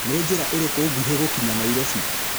nĩ njĩra ĩriku ngũhi gũkinya nairobi